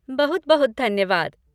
बहुत बहुत धन्यवाद।